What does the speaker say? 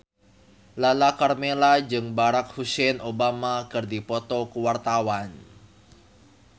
Lala Karmela jeung Barack Hussein Obama keur dipoto ku wartawan